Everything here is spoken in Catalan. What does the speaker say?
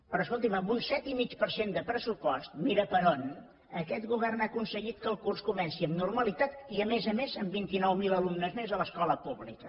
però escolti’m amb un set i mig per cent de pressupost mira per on aquest govern ha aconseguit que el curs comenci amb normalitat i a més a més amb vint nou mil alumnes més a l’escola pública